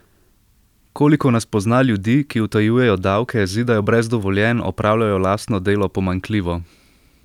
Koliko nas pozna ljudi, ki utajujejo davke, zidajo brez dovoljenj, opravljajo lastno delo pomanjkljivo?